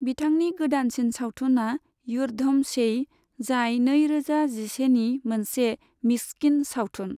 बिथांनि गोदानसिन सावथुनआ युद्धम सेई, जाय नैरोजा जिसेनि मोनसे मिस्किन सावथुन।